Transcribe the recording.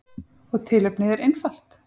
Og tilefnið er einfalt.